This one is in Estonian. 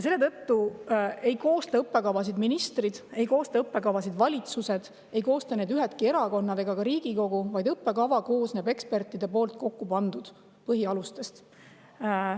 Selle tõttu ei koosta õppekavasid ministrid, ei koosta neid valitsused, ei koosta neid ükski erakond ega ka Riigikogu, vaid õppekava koosneb ekspertide kokku pandud põhialustest.